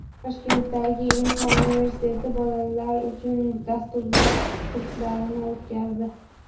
Toshkentdagi Inha universiteti bolalar uchun dasturlash kurslarini o‘tkazdi.